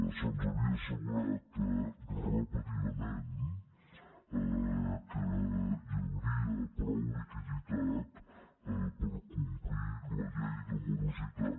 se’ns havia assegurat repetidament que hi hauria prou liquiditat per complir la llei de morositat